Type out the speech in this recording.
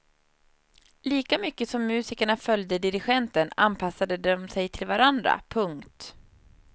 Lika mycket som musikerna följde dirigenten anpassade de sig till varandra. punkt